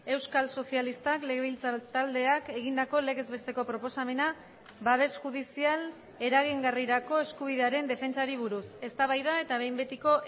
euskal sozialistak legebiltzar taldeak egindako legez besteko proposamena babes judizial eragingarrirako eskubidearen defentsari buruz eztabaida eta behin betiko